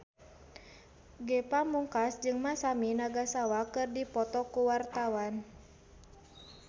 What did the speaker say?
Ge Pamungkas jeung Masami Nagasawa keur dipoto ku wartawan